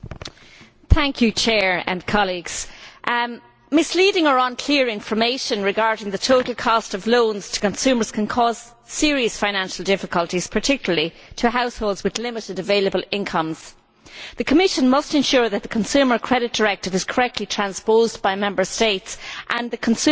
Mr President, misleading or unclear information regarding the total cost of loans to consumers can cause serious financial difficulties, particularly to households with limited available incomes. The Commission must ensure that the Consumer Credit Directive is correctly transposed by Member States and that consumers have a right to